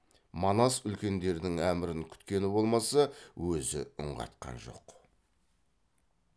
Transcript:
манас үлкендердің әмірін күткені болмаса өзі үн қатқан жоқ